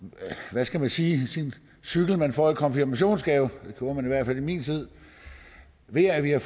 hvad skal vi sige sin cykel man får i konfirmationsgave det gjorde man i hvert fald i min tid ved at vi har